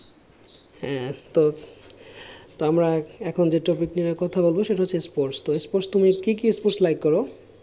হ্যাঁ তো আমরা এখন যে topic নিয়ে কথা বলব সেটা হচ্ছে sports তুমি কি কি sports like করো?